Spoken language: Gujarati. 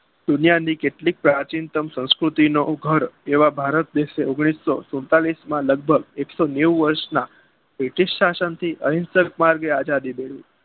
દુનીયાની કેટલીક પ્રાચીન સંસ્કૃતિ નો ઉગદ એવા ભારત દેશે ઔગ્નીસો સુડતાલીસમાં લગભગ એક્સોનેવું વર્ષના બ્રિટીશ શાસન થી અહિંસક માર્ગે આજાદી મેળવી